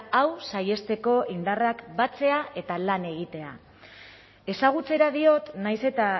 hau saihesteko indarrak batzea eta lan egitea ezagutzera diot nahiz eta